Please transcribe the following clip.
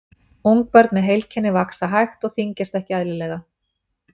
ungbörn með heilkennið vaxa hægt og þyngjast ekki eðlilega